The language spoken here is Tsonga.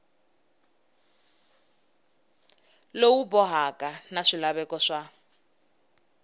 lowu bohaka na swilaveko swa